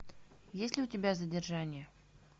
есть ли у тебя задержание